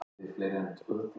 Ég á þig þar.